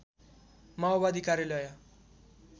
माओवादी कार्यालय